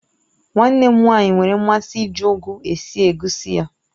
Nwa nne m nwaanyị nwere mmasị iji ugu esi egusi ya